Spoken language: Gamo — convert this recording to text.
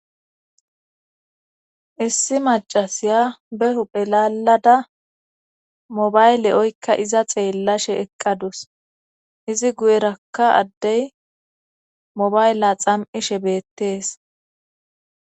issi macasiya behu phelalada mobayle7oykka iza xeellashe eqqadus izi guyerakka addey mobayle xam7ishe beettees